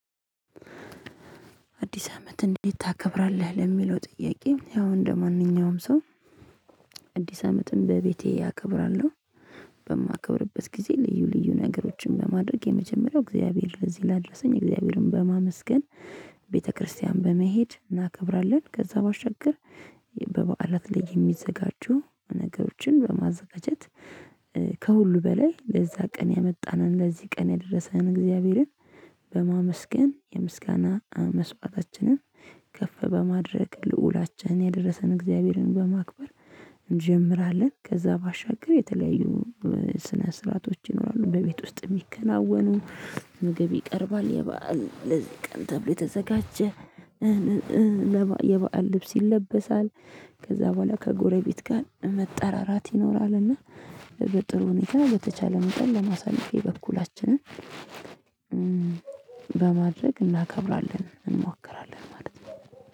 አዲስ አመት እንዴት ታከብራለህ ለሚለው ጥያቄ ያው እንደማንኛውም ሰው? አዲስ አመትም በቤቴ እከብራለሁ። በማከብርበት ጊዜ ልዩ ልዩ ነገሮችን በማድረግ የመጀመሪያው እግዚአብሔር ለዚህ ላደሰኝ እግዚአብሔርን በማመስገን። ቤተክርስቲያን በመሄድ እናከብራለን ከዛ ባሻገር። በበዓላት ላይ የሚዘጋጁ ነገሮችን በማዘጋጀት። ከሁሉ በላይ ለዛ ቀን ያመጣንን ለዚህ ቀን ያደረሰን እግዚአብሔርን። በማመስገን የምስጋና መስዋዕታችንን ከፍ በማድረግ ልዑላችን ያደረሰን እግዚአብሔርን በማክበር። እንጀምራለን። ከዛ ባሻገር የተለያዩ ስነ ስርዓቶች ይኖራሉ በቤት ውስጥ የሚከናወኑ። ምግብ ይቀርባል የበአል ለዚህ ቀን ተብሎ የተዘጋጀ። የበአል ልብስ ይለበሳል። ከዛ በኋላ ከጎረቤት ጋር መጠራራት ይኖራልና። በጥሩ ሁኔታ በተቻለ መጠን ለማሳየት በኩላችንም በማድረግ እናከብራለን እንሞክራለን ማለት ነው።